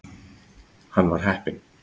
Hann var heppinn.